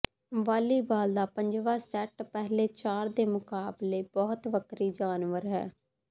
volleyball ਦਾ ਪੰਜਵਾਂ set ਪਹਿਲੇ ਚਾਰ ਦੇ ਮੁਕਾਬਲੇ ਬਹੁਤ ਵੱਖਰੀ ਜਾਨਵਰ ਹੈ